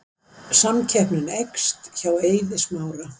Samkeppnin eykst hjá Eiði Smára